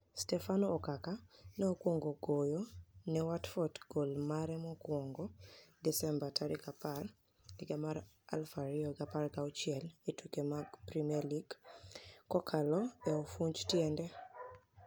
Stefano Okaka ni e okwonigo goyo ni e Watford goli mare mokwonigo Desemba 10, 2016 e tuke mag premier League kokalo e ofunij tienide.